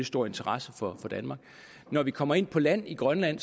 stor interesse for danmark når vi kommer ind på land i grønland